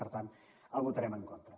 per tant hi votarem en contra